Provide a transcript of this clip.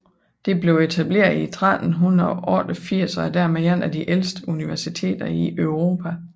Det blev etableret i 1388 og er dermed et af de ældste universiteter i Europa